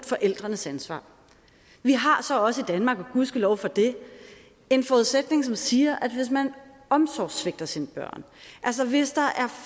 forældrenes ansvar vi har så også i danmark og gudskelov for det en forudsætning som siger at hvis man omsorgssvigter sine børn altså hvis der er